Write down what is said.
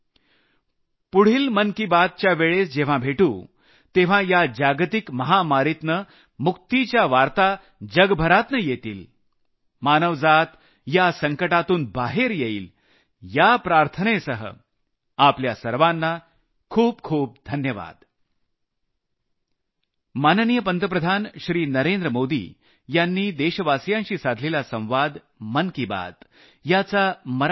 पुढली मन की बात च्या वेळेस जेव्हा भेटू तेव्हा या जागतिक महामारीतनं मुक्तिच्या वार्ता जगभरातनं येतील मानवजात या संकटातून बाहेर येईल या प्रार्थनेसह आपल्या सर्वांना खूप खूप धन्यवाद